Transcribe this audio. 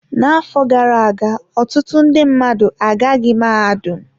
N'afọ gara aga, ọtụtụ ndị mmadụ agaghị mahadum.